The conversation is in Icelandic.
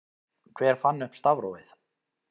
Hver fann upp stafrófið?